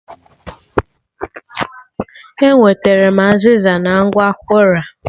E nwetere m azịza na ngwa Kwora